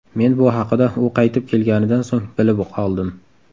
Men bu haqida u qaytib kelganidan so‘ng bilib qoldim.